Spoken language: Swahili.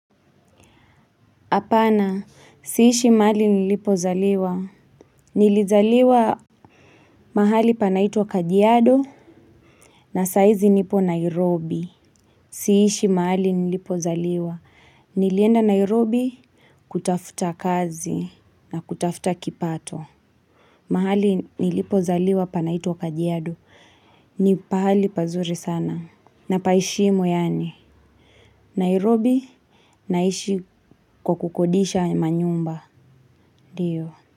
Hapana, siishi mahali nilipozaliwa, nilizaliwa mahali panaitwa kadyado, na saizi nipo Nairobi, siishi mahali nilipozaliwa, nilienda Nairobi kutafuta kazi, na kutafuta kipato, mahali nilipozaliwa panaitwa kadyado, nipahali pazuri sana, na paheshimu yani, Nairobi naishi kwakukodisha manyumba, dio.